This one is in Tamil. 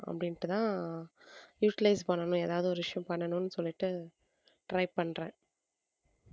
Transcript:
அப்படின்னுட்டுதான் utilize பண்ணணும் எதாவது ஒரு விஷயம் பண்ணணும்னு சொல்லிட்டு try பண்றேன்